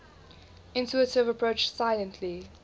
intuitive approach silently